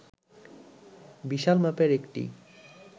বিশাল মাপের একটি